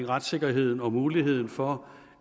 retssikkerheden og muligheden for